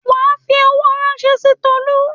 Wà á fi owó ránṣẹ́ sí Tolú.